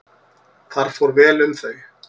Þar fór vel um þau.